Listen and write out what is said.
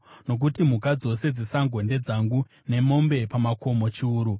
nokuti mhuka dzose dzesango ndedzangu, nemombe pamakomo chiuru.